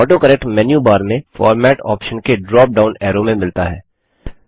autocorrect menu bar में format option के drop down arrow में मिलता है